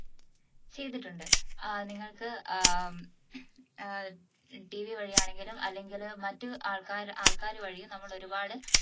ചെയ്തിട്ടുണ്ട് ഏർ നിങ്ങൾക്ക് ഏർ ഏർ TV വഴിയാണെങ്കിലും അല്ലെങ്കിലും മറ്റ് ആൾക്കാർ ആൾക്കാരെ വഴിയും നമ്മൾ ഒരുപാട്